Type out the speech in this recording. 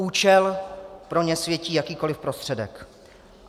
Účel pro ně světí jakýkoliv prostředek.